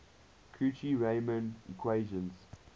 cauchy riemann equations